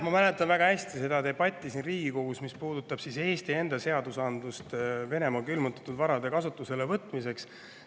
Ma mäletan väga hästi seda debatti siin Riigikogus, mis puudutas Eesti enda seadusandlust Venemaa külmutatud varade kasutusele võtmiseks.